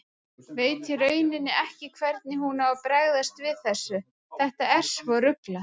Veit í rauninni ekki hvernig hún á að bregðast við þessu, þetta er svo ruglað.